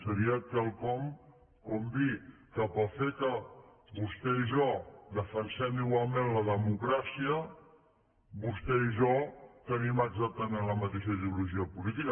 seria quelcom com dir que pel fet que vostè i jo defensem igualment la democràcia vostè i jo tenim exactament la mateixa ideologia política